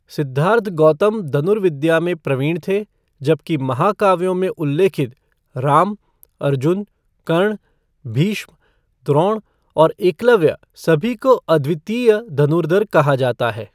सिद्धार्थ गौतम धनुर्विद्या में प्रवीण थे, जबकि महाकाव्यों में उल्लेखित राम, अर्जुन, कर्ण, भीष्म, द्रोण और एकलव्य सभी को अद्वितीय धनुर्धर कहा जाता है।